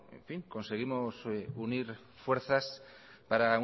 conseguimos unir fuerzas para